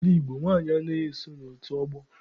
N'ala Igbo, nwanyị anaghị eso n'otu ọgbọ.